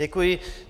Děkuji.